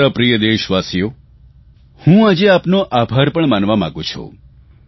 મારા પ્રિય દેશવાસીઓ હું આજે આપનો આભાર પણ માનવા માગું છું